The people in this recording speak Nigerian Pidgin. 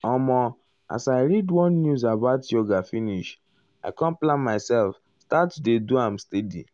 omo as i read one news about yoga finish i com plan myself start to dey do am steady.